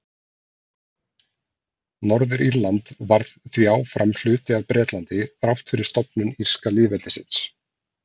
Norður-Írland varð því áfram hluti af Bretlandi þrátt fyrir stofnun írska lýðveldisins.